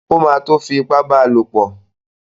O má tún tó fi ipá bá lopọ̀.